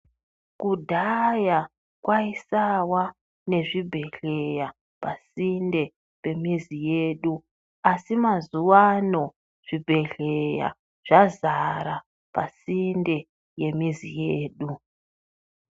Kudhaya kwaisawa nezvibhedhleya pasinde pemizi yedu, asi mazuwano zvibhedhleya zvazara pasinde yemizi yedu.